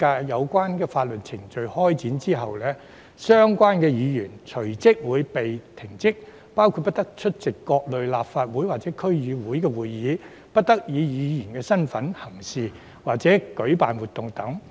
有關法律程序展開後，相關議員隨即會被停職，包括不得出席各類立法會或區議會會議，以及不得以議員身份行事或舉辦活動等。